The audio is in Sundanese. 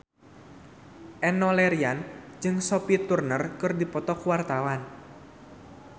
Enno Lerian jeung Sophie Turner keur dipoto ku wartawan